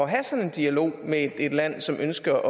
have sådan en dialog med et land som ønsker